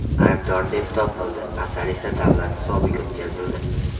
aybdor deb topildi, asar esa davlat hisobiga o‘tkazildi.